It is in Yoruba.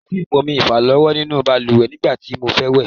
Kòsí ìpọnmi ìfàlọ́wọ́ nínú balùwẹ̀ nígbà tí mo fẹ́ wẹ̀.